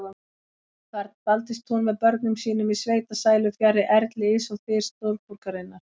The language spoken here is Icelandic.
Þar dvaldist hún með börnum sínum í sveitasælu, fjarri erli og þys stórborgarinnar.